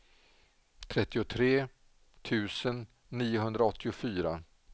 trettiotre tusen niohundraåttiofyra